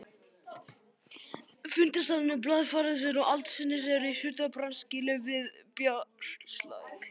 Fundarstaður blaðfarsins og aldinsins er í Surtarbrandsgili við Brjánslæk.